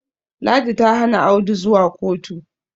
ladi ta Hana Audu zuwa kotu